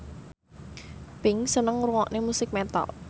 Pink seneng ngrungokne musik metal